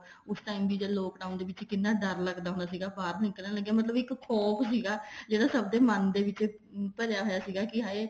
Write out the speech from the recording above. ਉਸ time ਵੀ ਜਦ lockdown ਦੇ ਵਿੱਚ ਕਿੰਨਾ ਡਰ ਲੱਗਦਾ ਸੀਗਾ ਬਾਹਰ ਨਿੱਕਲਣ ਲੱਗਿਆ ਮਤਲਬ ਇੱਕ ਖੋਫ਼ ਸੀਗਾ ਜਿਹੜਾ ਸਭ ਦੇ ਮਨ ਦੇ ਵਿੱਚ ਭਰਿਆ ਹੋਇਆ ਸੀਗਾ ਵੀ ਹਾਏ